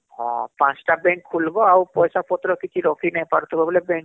ହଁ ପାଞ୍ଚ ଟା bank ଖୁଲବ ଆଉ ପଇସା ପତ୍ର କିଛି ରଖି ନାଇଁ ପାରୁଥିବ ବୋଇଲେ